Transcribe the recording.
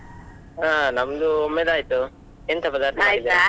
ಹಾ ನಮ್ದು ಒಮ್ಮೆದು ಆಯ್ತು ಎಂತ ಪದಾರ್ಥ .